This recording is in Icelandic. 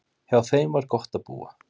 Hjá þeim var gott að búa.